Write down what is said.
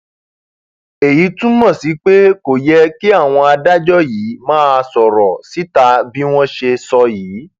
èyí túmọ sí pé kò yẹ kí àwọn adájọ yìí máa sọrọ síta bí wọn ṣe sọ yìí